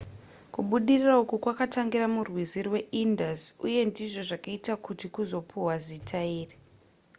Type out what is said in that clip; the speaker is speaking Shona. kubudirira uku kwakatangira murwizi rwaindus uye ndizvo zvakaita kuti kuzopiwa zita iri